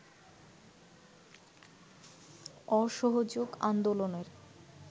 অসহযোগ আন্দোলনের